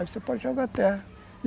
Aí você pode jogar a terra.